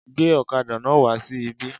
Gbé ọ̀kadà náà wà sí ibí.